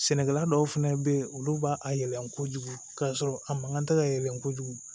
Sɛnɛkɛla dɔw fɛnɛ bɛ yen olu b'a a yɛlɛmɛn kojugu k'a sɔrɔ a mankan tɛ ka yɛlɛ kojugu